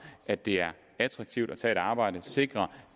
at det er attraktivt at tage et arbejde sikre